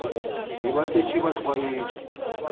be ba šetše ba tlwaetše